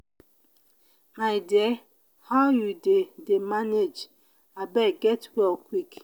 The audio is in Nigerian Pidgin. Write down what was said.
my dear how you dey dey manage abeg get well quick.